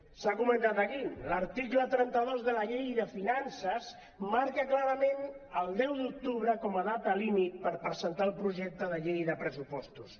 s’ha comentat aquí l’article trenta dos de la llei de finances marca clarament el deu d’octubre com a data límit per presentar el projecte de llei de pressupostos